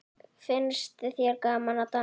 Finnst þér gaman að dansa?